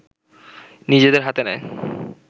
নিজেদের হাতে নেয়